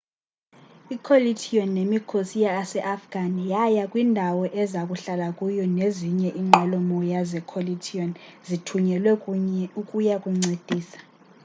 i-coalition nemikhosi yaseafghan yaya kwindawo eza kuhlala kuyo nezinye inqwelomoya ze-coalition zithunyelwe ukuya kuncedisa